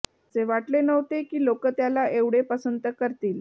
असे वाटले नव्हते की लोक त्याला एवढे पसंत करतील